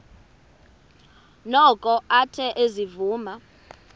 noko athe ezivuma